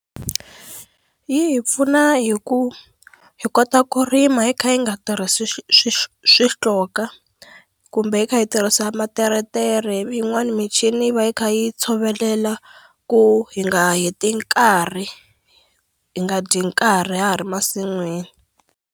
Yi hi pfuna hi ku hi kota ku rima hi kha hi nga tirhisi swi swi swi xihloka kumbe hi kha hi tirhisa materetere ivi yin'wani michini va yi kha yi tshovelela ku hi nga heti nkarhi hi nga dyi nkarhi ya ha ri masin'wini.